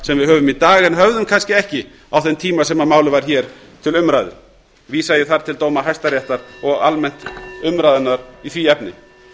sem við höfum í dag en höfðum kannski ekki á þeim tíma sem málið var til umræðu vísa ég þar til dóma hæstaréttar og almennt umræðunnar í því efni